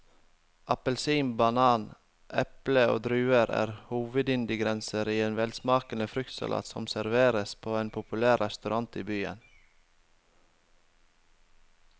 Appelsin, banan, eple og druer er hovedingredienser i en velsmakende fruktsalat som serveres på en populær restaurant i byen.